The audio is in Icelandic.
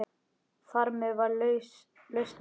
Þarmeð var lausnin fundin.